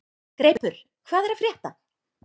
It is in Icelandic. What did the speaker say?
Greipur, hvað er að frétta?